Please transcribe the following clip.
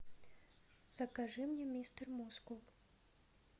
закажи мне мистер мускул